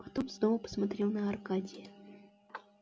потом снова посмотрел на аркадия